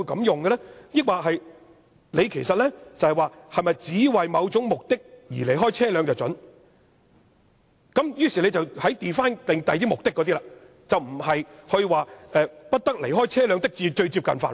抑或其實是想說只為某種目的而離開車便准許，於是 define 其他目的，而不是說"不得離開車輛的最接近範圍"。